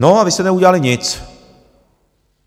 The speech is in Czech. No a vy jste neudělali nic!